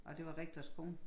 Og det var rektors kone